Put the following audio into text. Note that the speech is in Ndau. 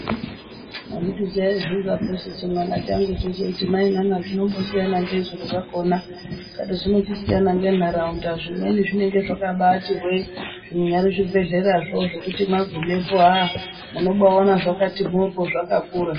Handiti chaivhunzaposu chimwana changucho cheiti mai nana zvinombosiyana ngei zviro. Zvakona ndikati zvinochisiyana ngentaraunda zvimweni zvinenge zvakabaati hwee. Zvinyari zvibhehlerazvo zvokuti magumepo haa munobaaona zvakati mhoryo zvakakura.